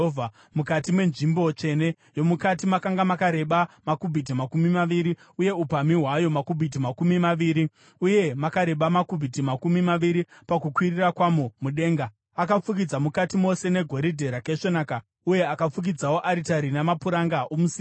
Mukati menzvimbo tsvene yomukati makanga makareba makubhiti makumi maviri, uye upamhi hwayo makubhiti makumi maviri , uye makareba makubhiti makumi maviri pakukwirira kwamo mudenga. Akafukidza mukati mose negoridhe rakaisvonaka, uye akafukidzawo aritari namapuranga omusidhari.